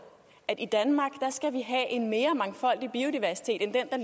at vi i danmark skal have en mere mangfoldig biodiversitet end den der